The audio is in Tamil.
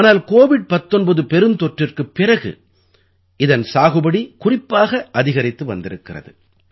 ஆனால் கோவிட் 19 பெருந்தொற்றிற்குப் பிறகு இதன் சாகுபடி குறிப்பாக அதிகரித்து வந்திருக்கிறது